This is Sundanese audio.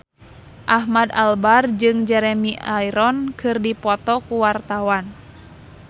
Ahmad Albar jeung Jeremy Irons keur dipoto ku wartawan